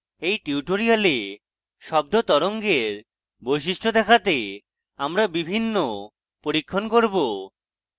in tutorial শব্দ তরঙ্গের বৈশিষ্ট্য দেখাতে আমরা বিভিন্ন পরীক্ষণ করব